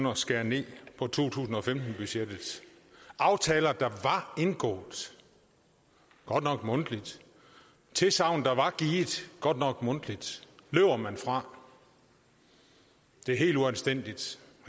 at skære ned på to tusind og femten budgettet aftaler der var indgået godt nok mundtligt tilsagn der var givet godt nok mundtligt løber man fra det er helt uanstændigt